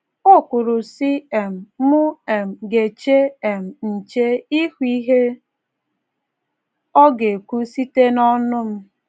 O kwuru, sị um: “ M um ga - eche um nche, ịhụ ihe Ọ ga - ekwu site n'ọnụ m.